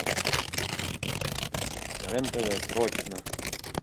рен тв срочно